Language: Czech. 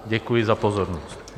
Děkuji za pozornost.